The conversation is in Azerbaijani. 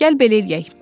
Gəl belə eləyək.